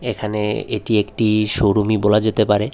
এখানে এটি একটি শোরুমই বলা যেতে পারে।